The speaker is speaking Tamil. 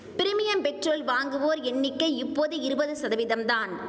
பிரிமியம் பெட்ரோல் வாங்குவோர் எண்ணிக்கை இப்போது இருபது சதவீதம் தான்